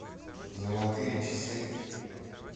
золотые часы